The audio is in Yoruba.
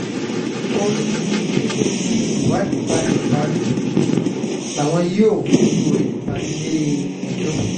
ó ní ní kété tí ìwádìí bá parí làwọn yóò fojú rẹ̀ balẹ̀-ẹjọ́